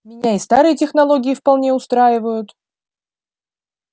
меня и старые технологии вполне устраивают